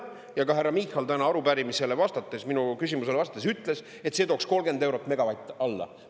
Ja ka härra Michal täna arupärimisele vastates, minu küsimusele vastates ütles, et see tooks 30 eurot megavatt alla.